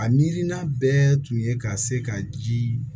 A mirina bɛɛ tun ye ka se ka ji